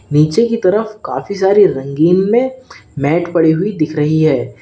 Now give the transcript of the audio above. नीचे की तरफ काफी सारे रंगीन में मैट पड़ी हुई दिख रही है।